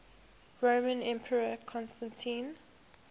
roman emperor constantine